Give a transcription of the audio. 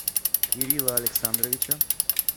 кирилла александровича